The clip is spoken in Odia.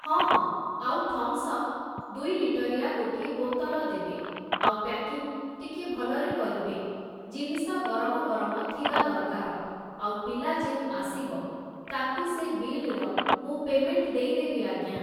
ହଁ ହଁ, ଆଉ ଥମ୍‌ସପ୍ ଦୁଇ ଲିଟରିଆ ଗୋଟିଏ ବୋତଲ ଦେବେ, ଆଉ ପ୍ୟାକିଂ ଟିକିଏ ଭଲରେ କରିବେ । ଜିନିଷ ଗରମ ଗରମ ଥିବା ଦରକାର, ଆଉ ପିଲା ଯେଉଁ ଆସିବ, ତାକୁ ସେ ବିଲର ମୁଁ ପେମେଣ୍ଟ ଦେଇ ଦେବି ଆଜ୍ଞା ।